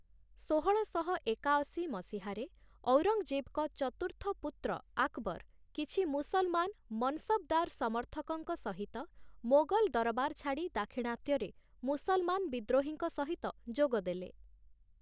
ଷୋହଳଶହ ଏକାଅଶୀ ମସିହାରେ, ଔରଙ୍ଗଜେବଙ୍କ ଚତୁର୍ଥ ପୁତ୍ର ଆକବର, କିଛି ମୁସଲମାନ ମନସବ୍‌ଦାର ସମର୍ଥକଙ୍କ ସହିତ ମୋଗଲ ଦରବାର ଛାଡ଼ି ଦାକ୍ଷିଣାତ୍ୟରେ ମୁସଲମାନ ବିଦ୍ରୋହୀଙ୍କ ସହିତ ଯୋଗଦେଲେ ।